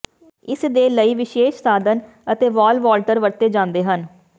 ਇਸ ਦੇ ਲਈ ਵਿਸ਼ੇਸ਼ ਸਾਧਨ ਅਤੇ ਵਾਲ ਵਾਲਟਰ ਵਰਤੇ ਜਾਂਦੇ ਹਨ